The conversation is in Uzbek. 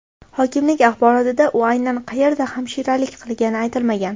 Hokimlik axborotida u aynan qayerda hamshiralik qilgani aytilmagan.